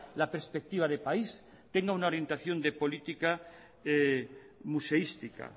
la perspectiva de país tenga una orientación de política museística